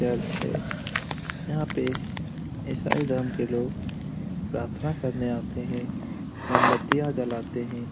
Church है यहां पे ईसाई धर्म के लोग प्रार्थना करने आते हैं मोमबत्तियां जलाते हैं।